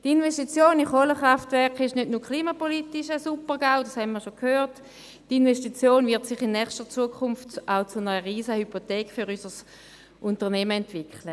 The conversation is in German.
Die Investition in Kohlekraftwerke stellt nicht nur klimapolitisch einen Super-GAU dar – das haben wir bereits gehört –, auch wird sich die Investition in nächster Zukunft zu einer Riesen-Hypothek für unser Unternehmen entwickeln.